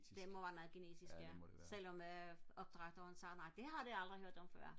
det må være noget genetisk ja selvom øh opdrætteren sagde nej det har de aldrig hørt om før